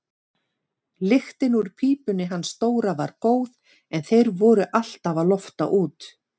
Lyktin úr pípunni hans Dóra var góð en þeir voru alltaf að lofta út.